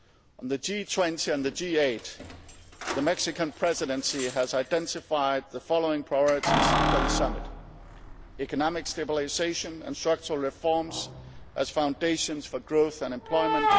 On the G20 and the G8, the Mexican Presidency has identified the following priorities for the summit economic stabilisation and structural reforms as foundations for growth and employment